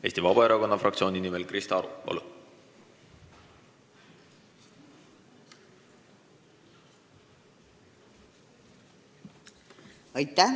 Eesti Vabaerakonna fraktsiooni nimel Krista Aru, palun!